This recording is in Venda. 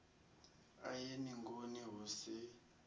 a ye ningoni hu si